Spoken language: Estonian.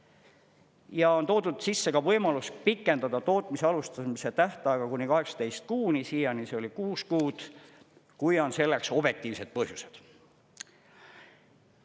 Ja on toodud sisse ka võimalus pikendada tootmise alustamise tähtaega kuni 18 kuuni, siiani see oli kuus kuud, kui on selleks objektiivsed põhjused.